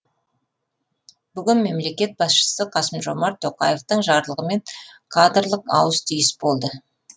бүгін мемлекет басшысы қасым жомарт тоқаевтың жарлығымен кадрлық ауыс түйіс болды